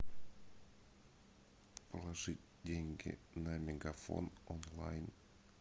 положить деньги на мегафон онлайн